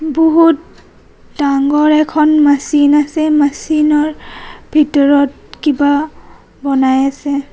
বহুত ডাঙৰ এখন মছিন আছে মছিন ৰ ভিতৰত কিবা বনাই আছে.